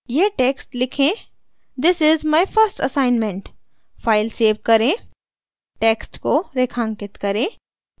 यह टेक्स्ट लिखें this is my first assignment file save करें टेक्स्ट को रेखांकित करें